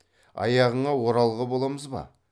аяғыңа оралғы боламыз ба